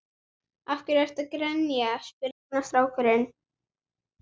Af hverju ertu að grenja? spurði annar strákurinn.